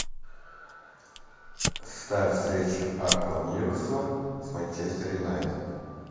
ставь встречу апл ньюкасл с манчестер юнайтед